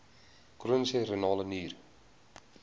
chroniese renale nier